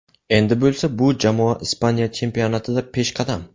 Endi bo‘lsa bu jamoa Ispaniya chempionatida peshqadam.